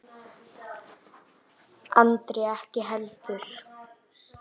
Andri ekki heldur.